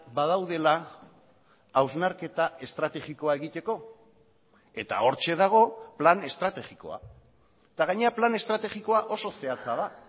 badaudela hausnarketa estrategikoa egiteko eta hortxe dago plan estrategikoa eta gainera plan estrategikoa oso zehatza da